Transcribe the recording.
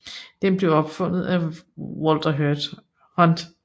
Den blev opfundet af Walter Hunt